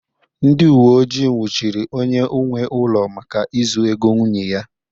Ndị uwe ojii nwụchiri onye nwe ụlọ maka izu ego nwunye ya